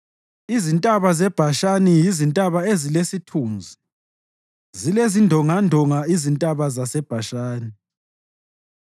Izintaba zeBhashani yizintaba ezilesithunzi; zilezindongandonga izintaba zaseBhashani.